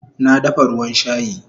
Na dafa ruwan shayi